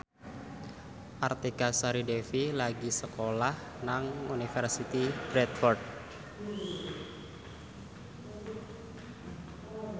Artika Sari Devi lagi sekolah nang Universitas Bradford